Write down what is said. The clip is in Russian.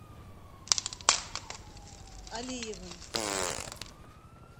алиевым